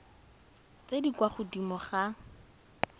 tse di kwa godimo ga